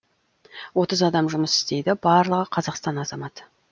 отыз адам жұмыс істейді барлығы қазақстан азаматы